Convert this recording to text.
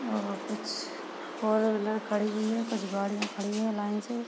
और कुछ four wheeler खड़ी हुई है और कुछ गाड़ियां खड़ी है लाइन से--